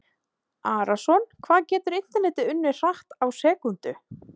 Arason Hvað getur internetið unnið hratt á sekúndu?